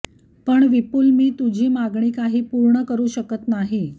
पण विपूल मी तुझी मागणी काही पूर्ण करू शकत नाही